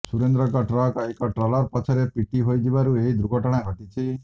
ସୁରେନ୍ଦ୍ରଙ୍କ truck ଏକ trawler ପଛରେ ପିଟି ହୋଇଯିବାରୁ ଏହି ଦୁର୍ଘଟଣା ଘଟିଛି